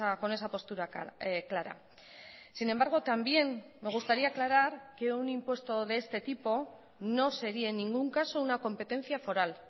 con esa postura clara sin embargo también me gustaría aclarar que un impuesto de este tipo no sería en ningún caso una competencia foral